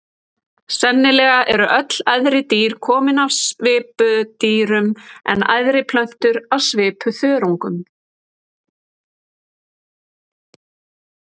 Sennilega eru öll æðri dýr komin af svipudýrum en æðri plöntur af svipuþörungum.